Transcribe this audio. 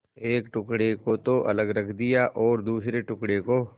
एक टुकड़े को तो अलग रख दिया और दूसरे टुकड़े को